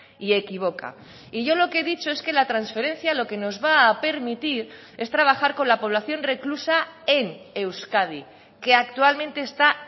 y equivoca y yo lo que he dicho es que la transferencia lo que nos va a permitir es trabajar con la población reclusa en euskadi que actualmente está